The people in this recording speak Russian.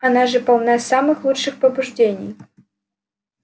она же полна самых лучших побуждений